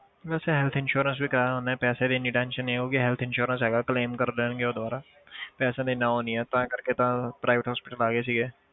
ਵੈਸੇ health insurance ਵੀ ਕਰਵਾਇਆ ਉਹਨੇ ਪੈਸਿਆਂ ਦੀ ਇੰਨੀ tension ਨੀ ਆ ਕਿਉਂਕਿ health insurance ਹੈਗਾ claim ਕਰ ਲੈਣਗੇ ਉਹ ਦੁਬਾਰਾ ਪੈਸਿਆਂ ਦਾ ਇੰਨਾ ਉਹ ਨੀ ਹੈ ਤਾਂ ਕਰਕੇ ਤਾਂ private hospital ਆ ਗਏ ਸੀਗੇ